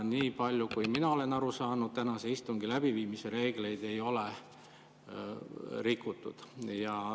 Nii palju kui mina olen aru saanud, tänase istungi läbiviimise reegleid ei ole rikutud.